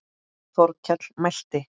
Þórkell mælti